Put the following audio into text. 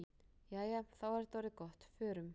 Jæja, þá er þetta orðið gott. Förum.